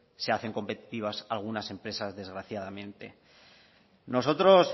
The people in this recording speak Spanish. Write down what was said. se hacen competitivas algunas empresas desgraciadamente nosotros